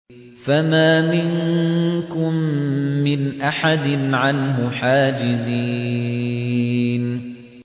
فَمَا مِنكُم مِّنْ أَحَدٍ عَنْهُ حَاجِزِينَ